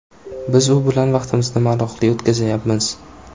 Biz u bilan vaqtimizni maroqli o‘tkazyapmiz.